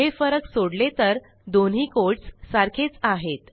हे फरक सोडले तर दोन्ही कोड्स सारखेच आहेत